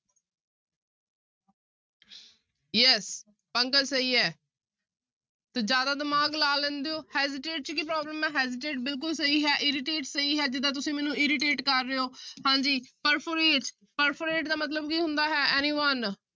Yes Pankaj ਸਹੀ ਹੈ ਤੇ ਜ਼ਿਆਦਾ ਦਿਮਾਗ ਲਾ ਲੈਂਦੇ ਹੋ hesitate 'ਚ ਕੀ problem ਹੈ hesitate ਬਿਲਕੁਲ ਸਹੀ ਹੈ irritate ਸਹੀ ਹੈ, ਜਿੱਦਾਂ ਤੁਸੀਂ ਮੈਨੂੰ irritate ਕਰ ਰਹੇ ਹੋ ਹਾਂਜੀ perforate, perforate ਦਾ ਮਤਲਬ ਕੀ ਹੁੰਦਾ ਹੈ anyone